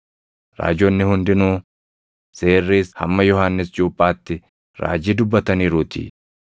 Raajonni hundinuu, Seerris hamma Yohannis Cuuphaatti raajii dubbataniiruutii.